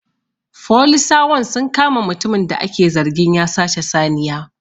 Folisawan sun kama mutumin da ake zargin ya sace saniya